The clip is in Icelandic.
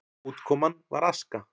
Útkoman var aska.